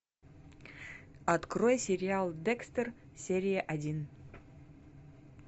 открой сериал декстер серия один